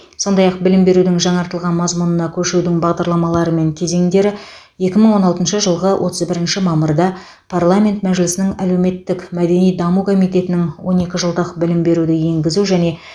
сондай ақ білім берудің жаңартылған мазмұнына көшудің бағдарламалары мен кезеңдері екі мың он алтыншы жылғы отыз бірінші мамырда парламент мәжілісінің әлеуметтік мәдени даму комитетінің он екі жылдық білім беруді енгізу және